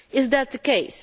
Is that the case?